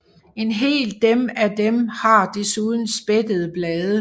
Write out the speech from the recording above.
En hel dem af dem har desuden spættede blade